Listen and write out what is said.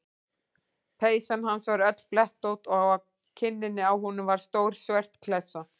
Peysan hans var öll blettótt og á kinninni á honum var stór svört klessa.